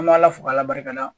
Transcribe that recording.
An m'a ala fo k'a barika da